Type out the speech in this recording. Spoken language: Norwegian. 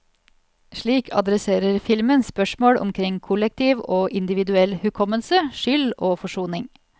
Slik adresserer filmen spørsmål omkring kollektiv og individuell hukommelse, skyld og forsoning.